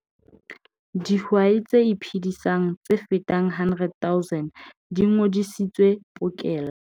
Dihwai tse iphedisang tse fetang 100 000 di ngodisitswe pokello